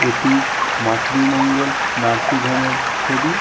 এটি Matri Mangal nursing home এর ছবি--